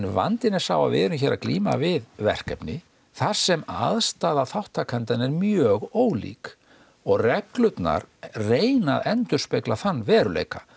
vandinn er sá að við erum hérna að glíma við verkefni þar sem aðstaða þátttakenda er mjög ólík og reglurnar reyna að endurspegla þann veruleika